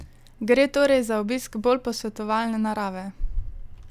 Gre torej za obisk bolj posvetovalne narave?